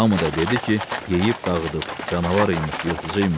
Hamı da dedi ki, yeyib dağıdıb, canavar imiş, yırtıcı imiş.